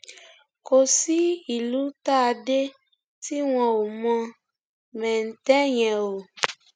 kò sí ìlú tá a dé tí wọn ò mọ mẹńtẹ yẹn o